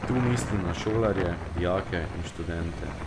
Tu mislim na šolarje, dijake in študente.